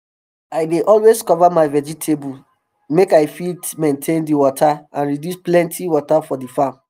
um i dey always cover my vegetable make i fit maintain di water and reduce plenty water for d farm